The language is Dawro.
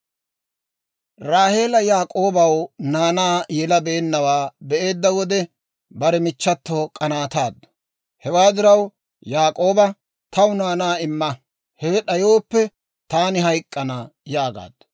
Raaheela Yaak'oobaw naanaa yelabeennawaa be'eedda wode, bare michchato k'anaataaddu; hewaa diraw Yaak'ooba, «Taw naanaa imma; hewe d'ayooppe, taani hayk'k'ana» yaagaaddu.